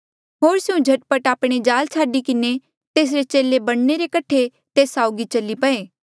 होर स्यों झट पट आपणे जाल छाडी किन्हें तेसरे चेले बणने रे कठे तेस साउगी चली पये